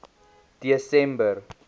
desember